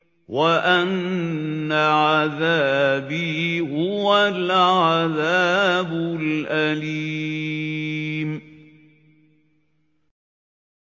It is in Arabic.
وَأَنَّ عَذَابِي هُوَ الْعَذَابُ الْأَلِيمُ